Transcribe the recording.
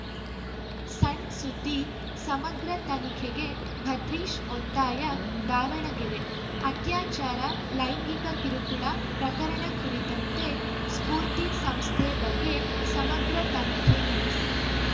ಸಣ್‌ ಸುದ್ದಿ ಸಮಗ್ರ ತನಿಖೆಗೆ ಭದ್ರೀಶ್‌ ಒತ್ತಾಯ ದಾವಣಗೆರೆ ಅತ್ಯಾಚಾರ ಲೈಂಗಿಕ ಕಿರುಕುಳ ಪ್ರಕರಣ ಕುರಿತಂತೆ ಸ್ಪೂರ್ತಿ ಸಂಸ್ಥೆ ಬಗ್ಗೆ ಸಮಗ್ರ ತನಿಖೆ ನಡೆಸಿ